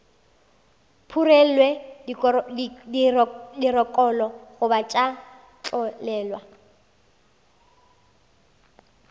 phurelwe dirokolo goba tša tlolelwa